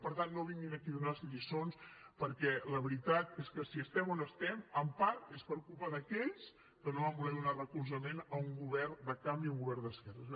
per tant no vinguin aquí a donar nos lliçons perquè la veritat és que si estem on estem en part és per culpa d’aquells que no van voler donar recolzament a un govern de canvi a un govern d’esquerres